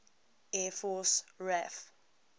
air force raaf